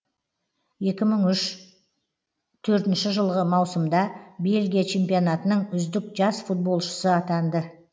екі мың үш төртінші жылғы маусымда бельгия чемпионатының үздік жас футболшысы атанды